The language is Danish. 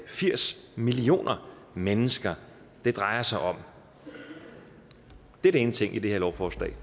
firs millioner mennesker det drejer sig om det er den ene ting i det her lovforslag